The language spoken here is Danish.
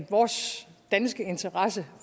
vores danske interesser